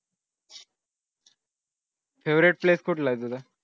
favorite place कुठलं आहे तुझं